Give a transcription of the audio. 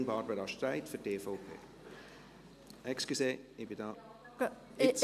Antragstellerin Barbara Streit für die EVP.